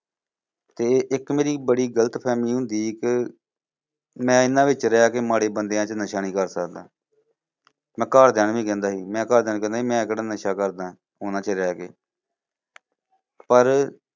ਤੇ ਇੱਕ ਮੇਰੀ ਬੜੀ ਗਲਤਫਹਿਮੀ ਹੁੰਦੀ ਸੀ ਕਿ, ਮੈਂ ਇਨ੍ਹਾਂ ਵਿੱਚ ਰਹਿ ਕੇ ਮਾੜੇ ਬੰਦਿਆ ਚ ਨਸ਼ਾ ਨੀ ਕਰ ਸਕਦਾ ਮੈਂ ਘਰਦਿਆ ਨੂੰ ਵੀ ਕਹਿੰਦਾ ਸੀ। ਮੈਂ ਘਰ ਦਿਆ ਨੂੰ ਕਹਿੰਦਾ ਸੀ ਕਿ ਮੈਂ ਕਿਹੜਾ ਨਸ਼ਾ ਕਰਦਾ ਉਨ੍ਹਾਂ ਚ ਰਹਿ ਕੇ ਪਰ